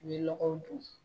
U bɛ lɔgɔw don.